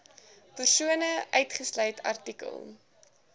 persone uitgesluit artikel